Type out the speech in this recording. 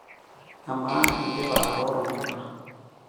Amaa, indipa atooro mpuka?